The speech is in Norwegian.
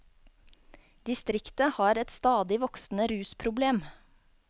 Distriktet har et stadig voksende rusproblem.